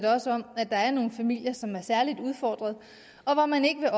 også om at der er nogle familier som er særligt udfordrede og hvor man ikke